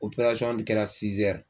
kɛra